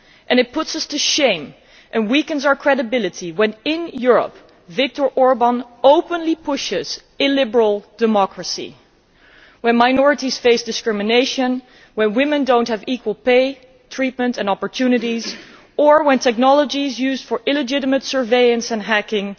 It puts us to shame and weakens our credibility when, in Europe, Viktor Orban openly pushes illiberal democracy, when minorities face discrimination, when women do not have equal pay, treatment and opportunities, when technology is used for illegitimate surveillance and hacking